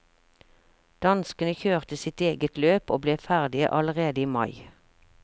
Danskene kjørte sitt eget løp og ble ferdige allerede i mai.